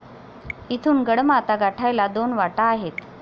इथून गडमाथा गाठायला दोन वाटा आहेत.